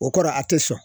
O kɔrɔ a tɛ sɔn